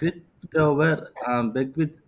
Christopher அஹ் Beckwith